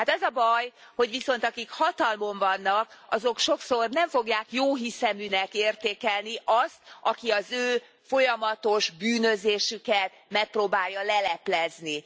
Hát az a baj, hogy viszont akik hatalmon vannak, azok sokszor nem fogják jóhiszeműnek értékelni azt, aki az ő folyamatos bűnözésüket megpróbálja leleplezni.